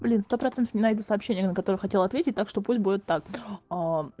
блин сто процентов не найду сообщение на которое хотела ответить так что пусть будет так